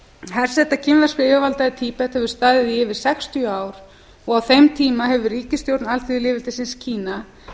herseta kínverskra yfirvalda í tíbet hefur staðið í yfir sextíu ár og á þeim tíma hefur ríkisstjórn alþýðulýðveldisins kína